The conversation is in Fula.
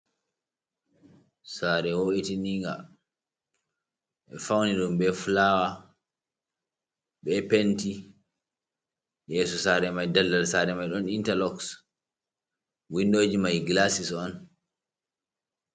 Sare wo’itininga ɓe fauni ɗum be fulawa be penti, yeso sare mai daldal sare mai ɗon interlok windoji mai gilasis on.